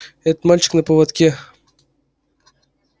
этот мальчик на поводке